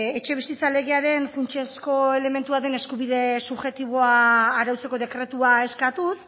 etxebizitza legearen funtsezko elementua den eskubide subjektiboa arautzeko dekretua eskatuz